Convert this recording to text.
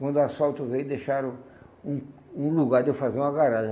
Quando o asfalto veio, deixaram um um lugar de eu fazer uma garagem.